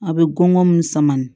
A bɛ gɔngɔn min sama